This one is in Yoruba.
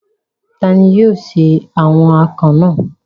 Ta ni yóò se awon akàn náà?